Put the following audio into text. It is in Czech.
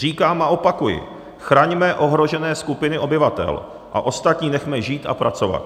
Říkám a opakuji - chraňme ohrožené skupiny obyvatel a ostatní nechme žít a pracovat.